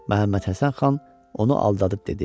Məhəmməd Həsən xan onu aldadıb dedi: